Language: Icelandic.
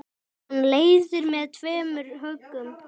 Hann leiðir með tveimur höggum.